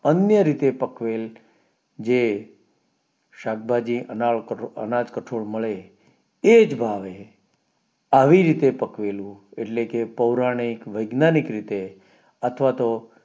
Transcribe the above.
અન્ય રીતે પકવેલ જે શાકભાજી અનાજ કઠોળ મળે એ જ ભાવે આવી રીતે પકવેલૂ એટલે કે પૌરાણિક વૈજ્ઞાનિક રીતે અથવાતો